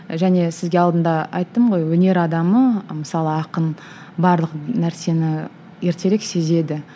және сізге алдында айттым ғой өнер адамы мысалы ақын барлық нәрсені ертерек сезеді